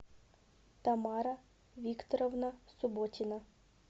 тамара викторовна субботина